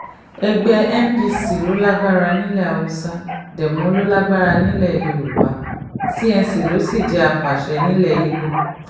ẹgbẹ́ npc ló lágbára nílẹ̀ haúsá demo ló lágbára nílẹ̀ yorùbá n cnc ló sì jẹ́ àpàṣe nílẹ̀ ibo